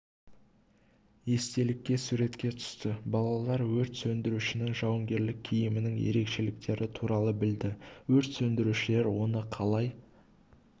естелікке суретке түсті балалар өрт сөндірушінің жауынгерлік киімінің ерекшеліктері туралы білді өрт сөндірушілер оны қалай